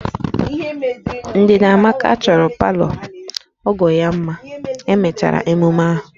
Ndidamaka chọrọ palọ ọgọ ya mma ka emechara emume ahụ